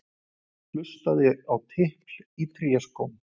Hlustaði á tipl í tréskóm.